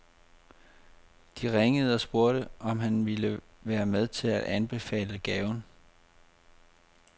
De ringede og spurgte, om han ville være med til at anbefale gaven.